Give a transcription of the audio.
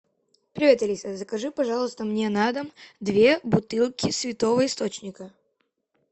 привет алиса закажи пожалуйста мне на дом две бутылки святого источника